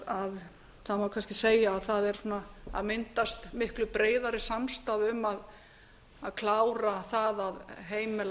það má kannski segja að það sé að myndast miklu breiðari samstaða um að klára það að heimila lögreglunni